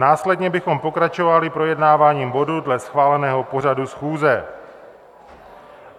Následně bychom pokračovali projednáváním bodů dle schváleného pořadu schůze.